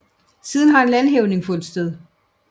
Siden har en landhævning fundet sted